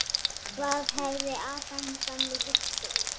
Hvað hefði Adam gamli hugsað?